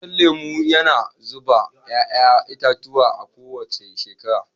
Itacen lemu yana zuba 'ya'ya itatuwa a kowace shekara.